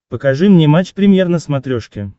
покажи мне матч премьер на смотрешке